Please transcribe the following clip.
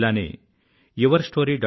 ఇలానే yourstory